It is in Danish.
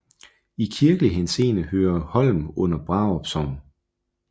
I kirkelig henseende hører Holm under Brarup Sogn